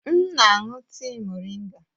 M na-aṅụ tii moringa.